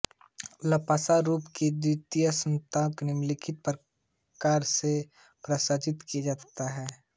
Laplace रूपान्तर का द्विपक्षीय रूपान्तर निम्नलिखित प्रकार से पारिभाषित किया जाता है